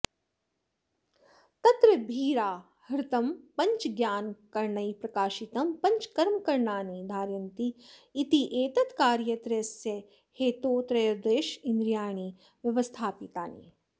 तत्र त्रिभिराहृतं पञ्चज्ञानकरणैः प्रकाशितं पञ्चकर्मकरणानि धारयन्ति इत्येतत्कार्यत्रयस्य हेतोस्त्रयोदशेन्द्रियाणि व्यवस्थापितानि